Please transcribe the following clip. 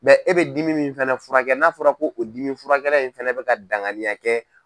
e bɛ dimi min fana furakɛ n'a fɔra ko o dimi furakɛla in fana bɛka danganiya kɛ.